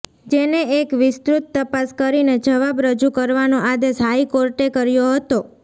જેને એક વિસ્તૃત તપાસ કરીને જવાબ રજૂ કરવાનો આદેશ હાઇકોર્ટે કર્યો હતો